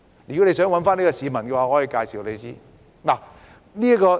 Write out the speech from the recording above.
如果你想找這位市民，我可以向你介紹。